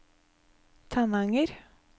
Tananger